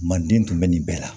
Manden tun bɛ nin bɛɛ la